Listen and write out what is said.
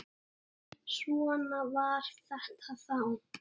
En svona var þetta þá.